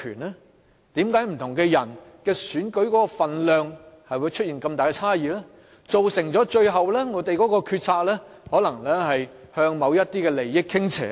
為何不同的人選舉的分量會出現這麼大的差異，最終造成我們的決策可能向某些利益團體傾斜呢？